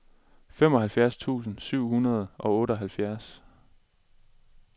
femoghalvfjerds tusind syv hundrede og otteoghalvfjerds